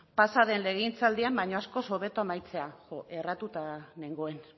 pasa den legegintzaldian baino askoz hobeto amaitzea jo erratuta nengoen